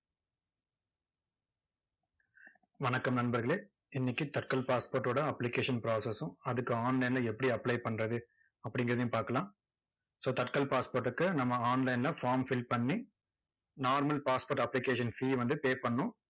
வணக்கம் நண்பர்களே. இன்னைக்கு தட்கல் passport ஓட application process உம் அதுக்கு online ல எப்படி apply பண்றது, அப்படிங்குறதையும் பாக்கலாம். so தட்கல் passport க்கு நம்ம online ல form fill பண்ணி, normal passport application fee ய வந்து pay பண்ணணும்